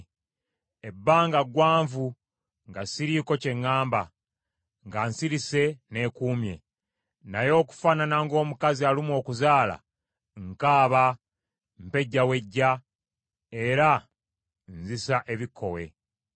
“Ebbanga ggwanvu nga siriiko kye ŋŋamba, nga nsirise neekuumye. Naye okufaanana ng’omukazi alumwa okuzaala, nkaaba, mpejjawejja era nzisa ebikkowe.